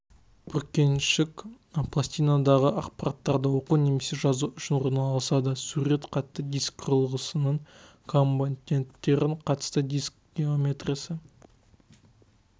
бүркеншік пластинадағы ақпараттарды оқу немесе жазу үшін орналасады сурет қатты диск құрылғысының компоненттері қатты диск геометриясы